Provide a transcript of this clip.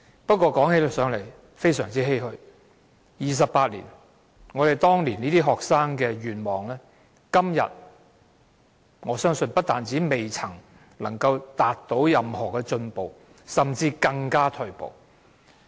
不過，說起來也非常欷歔，過了28年，學生當年的願望，我相信今天在各方面不但未有任何進步，甚至更加退步。